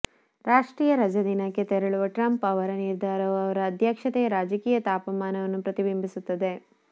ರಾಷ್ಟ್ರೀಯ ರಜಾದಿನಕ್ಕೆ ತೆರಳುವ ಟ್ರಂಪ್ ಅವರ ನಿರ್ಧಾರವು ಅವರ ಅಧ್ಯಕ್ಷತೆಯ ರಾಜಕೀಯ ತಾಪಮಾನವನ್ನು ಪ್ರತಿಬಿಂಬಿಸುತ್ತದೆ